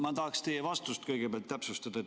Ma tahaksin teie vastust kõigepealt täpsustada.